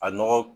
A nɔgɔ